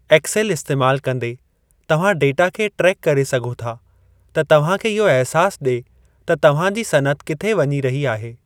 XL इस्तेमाल कंदे, तव्हां डेटा खे ट्रेक करे सघो था त तव्हां खे इहो अहिसासु ॾे त तव्हां जी सनअत किथे वञी रही आहे।